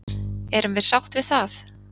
Erum við sátt við það?